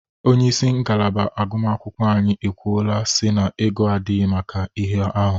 Onyeisi ngalaba agụmakwụkwọ anyi ekwuola si na ego adighi maka ihe ahụ.